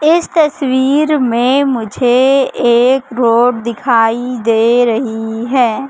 इस तस्वीर में मुझे एक रोड दिखाई दे रही है।